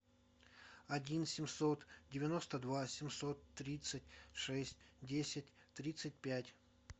один семьсот девяносто два семьсот тридцать шесть десять тридцать пять